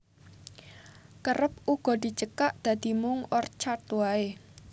Kerep uga dicekak dadi mung Orchard waé